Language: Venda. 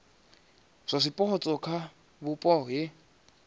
ya zwipotso kha vhupo he